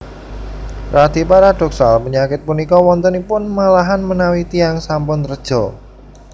Radi paradhoksal panyakit punika wontenipun malahan menawi tiyang sampun reja